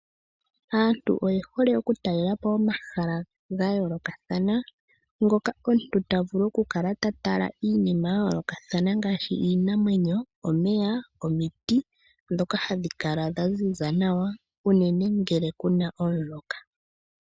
Aantu oye hole oku talela po omahala ga yoolokathana. Ngoka omuntu ta vulu oku kala ta tala iinima ya yoolokathana ngaashi iinamwenyo, omeya, omiti ndhoka hadhi kala dha ziza nawa unene ngele kuna omvula.